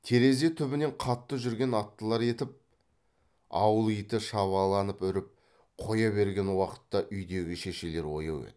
терезе түбінен қатты жүрген аттылар етіп ауыл иті шабаланып үріп қоя берген уақытта үйдегі шешелер ояу еді